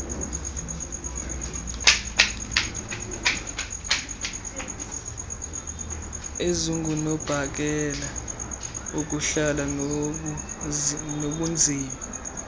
ezingunobangela wokuhla kobunzima